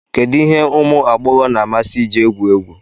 Kedu ihe ụmụ agbọghọ na-amasị iji egwu egwu